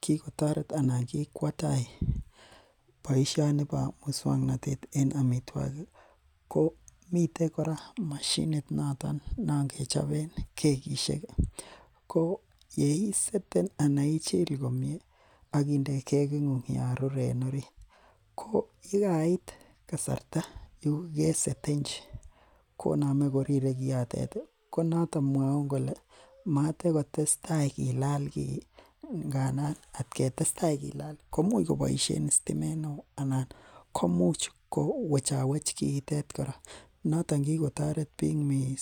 kikotaret anan kikwa tai boisiani bo musuaknotet en amituakik miten kora mashinit non kechoben kekisiek ih. Ko yeiseten ana ichil komie akinde kegit ng'ung Yoon rure en orit ko yekait kasarta negesetenchi koname koname korire kiotet ihkonaton mwauun kole matkotestai Kila kiih ngandan kilal komuch kobaishien sitimet neo anan komuch kowech kiotet kora noton kikotaret bik missing.